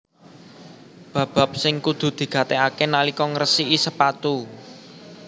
Bab bab sing kudu digatekaké nalika ngresiki sepatu